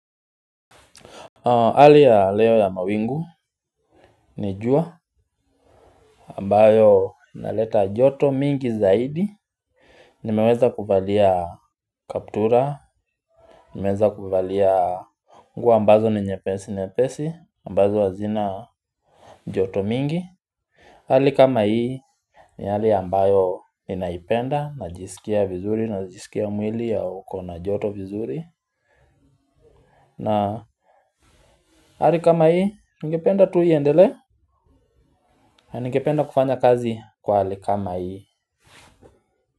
Hali ya leo ya mawingu ni jua ambayo inaleta joto mingi zaidi. Nimeweza kuvalia kaptura, nimeweza kuvalia nguo ambazo ni nyepesi, ambazo hazina joto mingi. Hali kama hii ni hali ambayo inaipenda, najisikia vizuri, najisikia mwili haukona joto vizuri na hali kama hii ningependa tu iendelee. Ningependa kufanya kazi kwa hali kama hii.